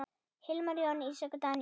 Hilmar, Jóna, Ísak og Daníel.